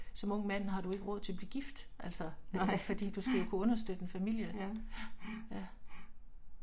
Som ung mand har du ikke råd til at blive gift altså, fordi du skal jo kunne understøtte en familie, ja, ja